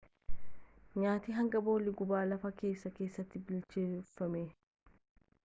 nyaati hangii boolla gubaa lafa keessaa keessatti bilcheeffama